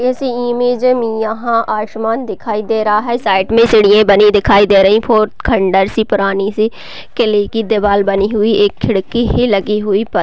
इस इमेज में यहाँ आसमान दिखाई दे रहा है साइड में चिड़िये बनी दिखाई दे रही बहुत खंडर सी पुरानी से किले की दीवाल बनी हुई एक खिड़की ही लगी हुई पत--